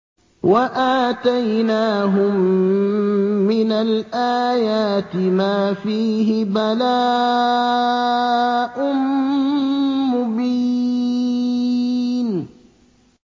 وَآتَيْنَاهُم مِّنَ الْآيَاتِ مَا فِيهِ بَلَاءٌ مُّبِينٌ